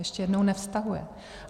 Ještě jednou - nevztahuje.